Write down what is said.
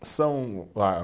São a